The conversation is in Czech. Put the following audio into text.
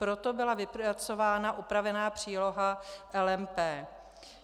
Proto byla vypracována upravená příloha LMP.